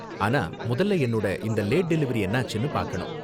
ஆனா முதல்ல என்னோட இந்த லேட் டெலிவரி என்னாச்சுனு பாக்கணும்.